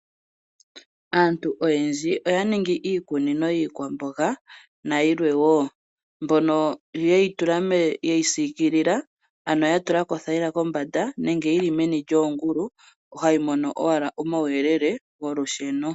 Aantu oyendji oya ningi iikunino yiikwamboga, nayilwe wo. Mbono yeyi tula, yeyi siikilila ano ya tulako othayila kombanda nenge yili meni lyoongulu, hayi mono owala omawuyelele golusheno.